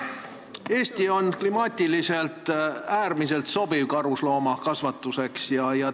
Eesti on klimaatiliselt äärmiselt sobiv karusloomakasvatuseks.